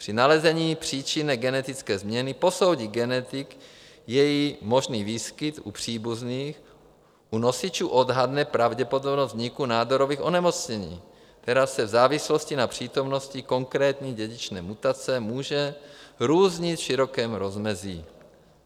Při nalezení příčiny genetické změny posoudí genetik její možný výskyt u příbuzných, u nosičů odhadne pravděpodobnost vzniku nádorových onemocnění, která se v závislosti na přítomnosti konkrétní dědičné mutace může různit v širokém rozmezí.